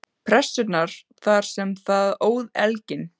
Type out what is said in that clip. Pressunnar þar sem það óð elginn.